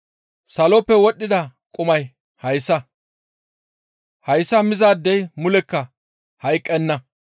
Saloppe wodhdhida qumay hayssa; hayssa mizaadey mulekka hayqqenna.